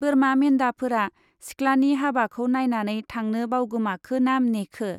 बोरमा मेन्दाफोरा सिख्लानि हाबाखौ नायनानै थांनो बावगोमाखो ना नेखो!